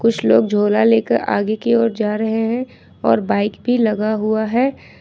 कुछ लोग झोला लेकर आगे की ओर जा रहे हैं और बाइक भी लगा हुआ है।